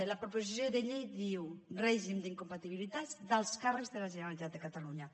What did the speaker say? i la proposició de llei diu règim d’incompatibilitats d’alts càrrecs de la generalitat de catalunya